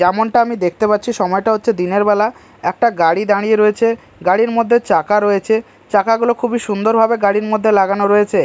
যেমনটা আমি দেখতে পাচ্ছি সময়টা হচ্ছে দিনের বেলা একটা গাড়ি দাঁড়িয়ে রয়েছে গাড়ির মধ্যে চাকা রয়েছে চাকাগুলো খুবই সুন্দরভাবে গাড়ির মধ্যে লাগানো রয়েছে।